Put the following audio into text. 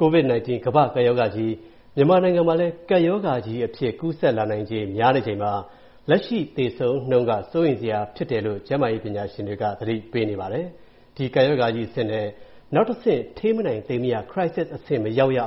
COVID-19 ကမ္ဘာ့ကပ်ရောဂါကြီးက မြန်မာနိုင်ငံမှာလည်း ကပ်ရောဂါကြီး အဖြစ် ကူးစက်လာနိုင်ခြေ များနေချိန်မှာ၊ လက်ရှိသေဆုံးနှုန်းက စိုးရိမ်စရာဖြစ်လာတယ်လို့ ကျန်းမာရေး ပညာရှင်တွေက သတိပေးပြောဆိုနေပါတယ်။ ကပ်ရောဂါကြီးအဆင့်မှ နောက်တစ်ဆင့်တက်ပြီး ထိန်းမနိုင်သိမ်းမရ အဆင့်တွေ မရောက်ရ